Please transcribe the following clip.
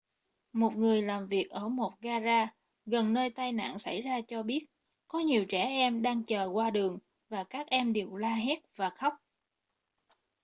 một người làm việc ở một ga-ra gần nơi tai nạn xảy ra cho biết có nhiều trẻ em đang chờ qua đường và các em đều la hét và khóc